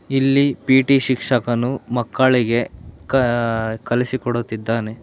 ಇಲ್ಲಿ ಪಿ_ಟಿ ಶಿಕ್ಷಕನು ಮಕ್ಕಳಿಗೆ ಕ ಕಲಿಸಿಕೊಡುತ್ತಿದ್ದಾನೆ.